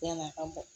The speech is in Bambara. Yann'a ka bɔ